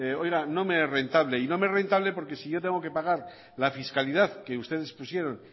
oiga no me es rentable y no me es rentable porque si yo tengo que pagar la fiscalidad que ustedes pusieron